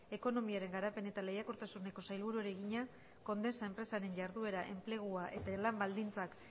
ekonomiaren garapen eta lehiakortasuneko sailburuari egina condesa enpresaren jarduera enplegua eta lan baldintzak